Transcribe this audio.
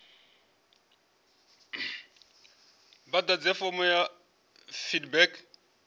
vha ḓadze fomo ya feedback